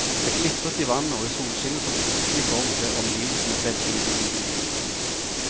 Det glitret i vannet, og i solskinnet som plutselig kom ble omgivelsene veldig innbydende igjen.